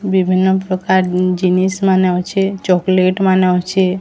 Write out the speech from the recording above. ବିଭିନ୍ନ ପ୍ରକାର ଜିନଷ ମାନେ ଅଛି ଚକ୍ଲେଟ୍ ମାନେ ଅଛି।